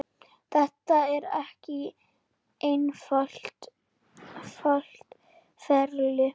Þetta er ekki einfalt ferli.